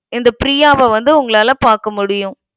இந்த ப்ரியாவ வந்து உங்களால பார்க்க முடியும்.